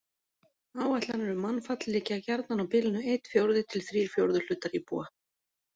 Áætlanir um mannfall liggja gjarnan á bilinu einn fjórði til þrír fjórðu hlutar íbúa.